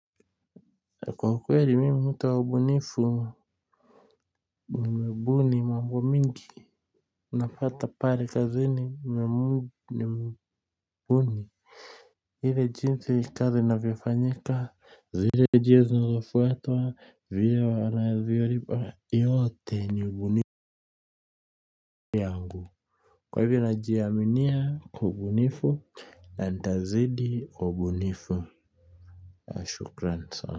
Kwa ukweli mimi mtu wa ubunifu nimebuni mambo mingi unapata pale kazini nimebuni ile jinsi kazi inavyofanyika zile njia zinazofuatwa vile wanavyolipa yote ni ubunifu kwa hivyo najiaminia kwa ubunifu na nitazidi kuwa mbunifu shukran sana.